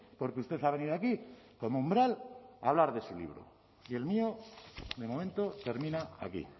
porque usted ha venido aquí como umbral a hablar de su libro y el mío de momento termina aquí